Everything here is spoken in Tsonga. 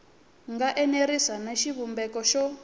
nga enerisi na xivumbeko xo